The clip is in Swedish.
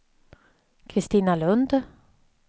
Kristina Lund